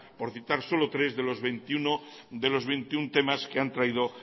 por citar solo tres de los veintiuno temas que han traído